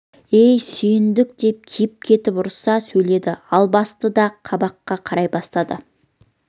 ей сүйіндік деп киіп кетіп ұрыса сөйледі албасты да қабаққа қарай басатын